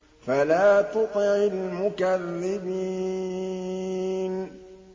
فَلَا تُطِعِ الْمُكَذِّبِينَ